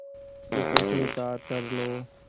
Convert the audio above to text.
उसे स्वीकार कर लो